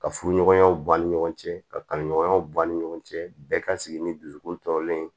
Ka furuɲɔgɔnya bɔ a ni ɲɔgɔn cɛ kaɲɔgɔnya ban ni ɲɔgɔn cɛ bɛɛ ka sigi ni dusukun tɔɔrɔlen ye